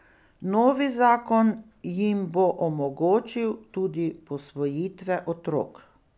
Novi zakon jim bo omogočil tudi posvojitve otrok.